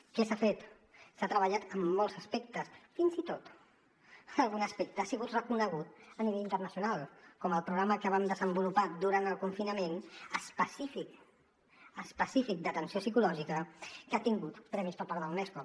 què s’ha fet s’ha treballat en molts aspectes fins i tot algun aspecte ha sigut reconegut a nivell internacional com el programa que vam desenvolupar durant el confinament específic específic d’atenció psicològica que ha tingut premis per part de la unesco